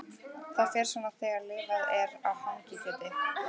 Það fer svona þegar lifað er á hangikjöti.